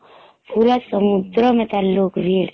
ପୁରା ସମୁଦ୍ର ମେତ ଲୁକ ଭିଡ଼